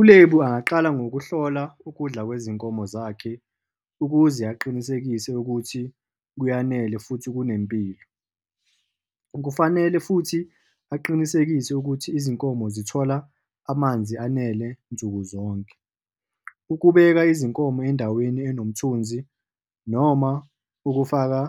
ULebu angaqala ngokuhlola ukudla kwezinkomo zakhe ukuze aqinisekise ukuthi kuyanele futhi kunempilo. Kufanele futhi aqinisekise ukuthi izinkomo zithola amanzi anele nsukuzonke. Ukubeka izinkomo endaweni enomthunzi noma ukufaka